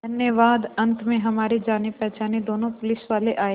धन्यवाद अंत में हमारे जानेपहचाने दोनों पुलिसवाले आए